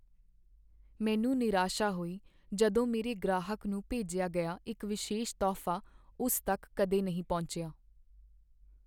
ਮੈਨੂੰ ਨਿਰਾਸ਼ਾ ਹੋਈ ਜਦੋਂ ਮੇਰੇ ਗ੍ਰਾਹਕ ਨੂੰ ਭੇਜਿਆ ਗਿਆ ਇੱਕ ਵਿਸ਼ੇਸ਼ ਤੋਹਫ਼ਾ ਉਸ ਤੱਕ ਕਦੇ ਨਹੀਂ ਪਹੁੰਚਿਆ।